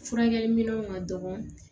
Furakɛliminɛnw ka dɔgɔ